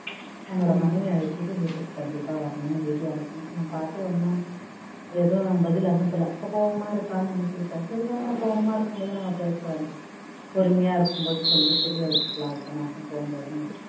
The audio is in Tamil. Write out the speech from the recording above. உன்னோட மனைவியை அழைச்சிட்டு வீட்டுக்கு கண்டிப்பா வரணும் எழுதி அனுப்பினேன் அவன் பார்த்து ஒன்னும் எதுவும் பதில் அனுப்பல கோபமா இருக்கான்னு நினைச்சிகிடேன் சரி வேண்டாம் கோபமா இருக்கும் போது நம்ம பேச வேண்டாம் பொறுமையா இருக்கும் போது சொல்லி புரிய வச்சிக்கலாம் அடுத்த மாசம் போகும் போது